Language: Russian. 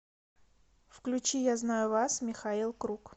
включи я знаю вас михаил круг